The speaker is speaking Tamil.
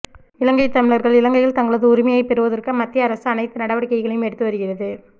இலங்கை தமிழா்கள் இலங்கையில் தங்களது உரிமையை பெறுவதற்கு மத்திய அரசு அனைத்து நடவடிக்கைகளையும் எடுத்து வருகிறது